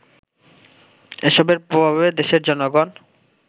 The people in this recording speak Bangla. এসবের প্রভাবে দেশের জনগণ